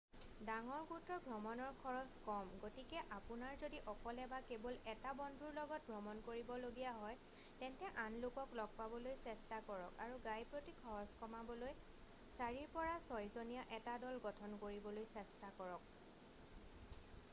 ডাঙৰ গোটৰ ভ্ৰমণৰ খৰছ কম গতিকে আপোনাৰ যদি অকলে বা কেৱল এটা বন্ধুৰ লগত ভ্ৰমণ কৰিবলগীয়া হয় তেন্তে আন লোকক লগ পাবলৈ চেষ্টা কৰক আৰু গাইপ্ৰতি খৰছ কমাবলৈ চাৰিৰ পৰা ছয়জনীয়া এটা দল গঠন কৰিবলৈ চেষ্টা কৰক।